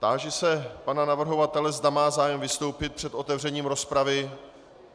Táži se pana navrhovatele, zda má zájem vystoupit před otevřením rozpravy.